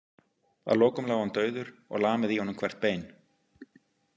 Að lokum lá hann dauður og lamið í honum hvert bein.